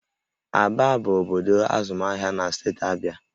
Aba bụ obodo azụmahịa na steeti Abịa